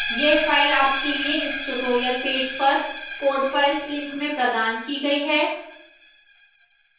यह file आपके लिए इस tutorial पेज पर code files link में प्रदान की गई है